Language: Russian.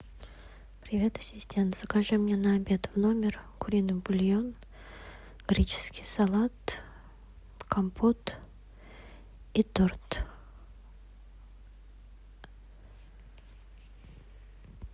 привет ассистент закажи мне на обед в номер куриный бульон греческий салат компот и торт